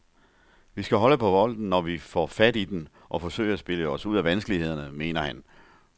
Vi skal holde på bolden, når vi får fat i den, og forsøge at spille os ud af vanskelighederne, mener han.